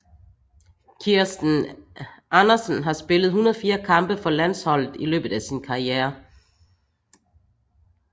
Kjerstin Andersen har spillet 104 kampe for landsholdet i løbet af sin karriere